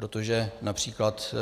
Protože například